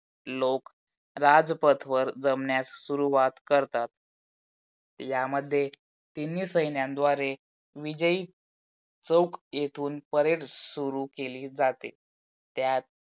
लोक राजपथवर जमण्यास सुरुवात करतात. यामध्ये तिन्ही सैन्यानद्वारे विजयी चौक येथून parade सुरु केली जाते. त्यात